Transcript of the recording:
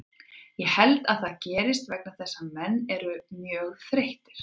Ég held að það gerist vegna þess að menn eru mjög þreyttir.